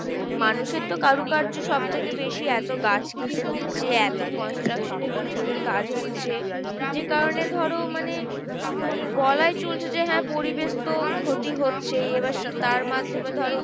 মানুষের তো কারুকার্য সব থেকে বেশি এত গাছ কেটে দিচ্ছে এত construction এ building এর কাজ হচ্ছে, যে কারনে ধরো মানে বলাই চলছে যে হ্যাঁ পরিবেশ তো ক্ষতি হচ্ছেই এবার তার মাধ্যমে ধরো